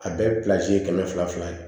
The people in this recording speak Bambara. A bɛɛ ye kɛmɛ fila fila ye